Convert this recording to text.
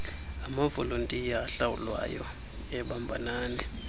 amavolontiya ahlawulwayo ebambanani